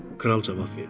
Kral cavab verdi.